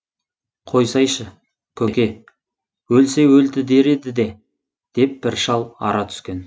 қойсайшы көке өлсе өлді дер еді де деп бір шал ара түскен